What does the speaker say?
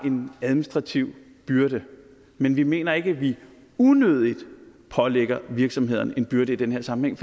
en administrativ byrde men vi mener ikke vi unødigt pålægger virksomhederne en byrde i den her sammenhæng